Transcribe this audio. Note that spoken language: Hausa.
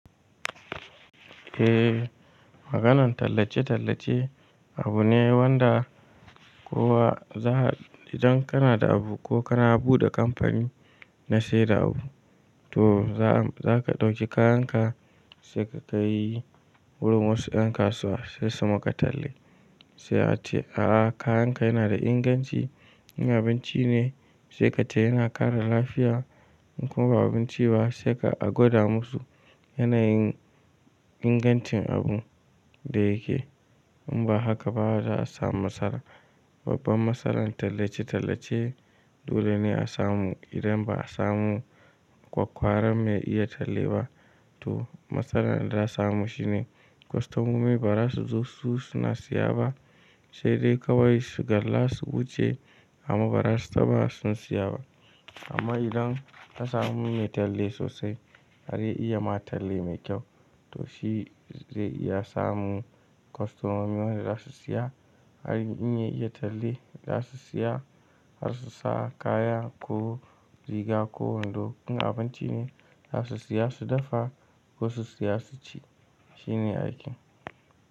Eh, maganan tallace-tallace abu ne wanda kowa za idan kana da abu ko kana buɗe kamfani na saida abu to zaka ɗauki kayanka sai ka kai wurin wasu ƴan kasuwa sai su maka talle. Sai ka ce a'a kayanka yana da inganci, abinci ne sai ka ce yana kare lafiya in kuma ba abinci ba sai ka aguda musu yanayin ingancin abun da yake. In ba haka ba za a samu matsala. Babbar matsalar tallace-tallace dole ne a samu idan ba a samu kwakwaran mai iya talleba to matsalar da za a samu shine kostomomi ba za su zo su siya ba, sai dai kawai su galla su wuce amma ba za su taba sun saya ba. Amma idan ka samu mai talle sosai har ya iya ma talle mai kyau to shi zai iya samu kostomomi wanda za su saya. Har in ya iya talli za su saya har su sa kaya ko riga ko in duk abinci ne za su saya su dafa ko su saya su ci shine aikin.